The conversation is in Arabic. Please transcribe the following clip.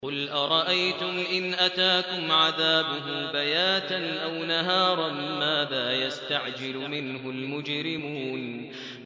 قُلْ أَرَأَيْتُمْ إِنْ أَتَاكُمْ عَذَابُهُ بَيَاتًا أَوْ نَهَارًا مَّاذَا يَسْتَعْجِلُ مِنْهُ الْمُجْرِمُونَ